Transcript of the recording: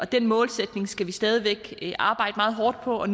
den målsætning skal vi stadig væk arbejde meget hårdt på at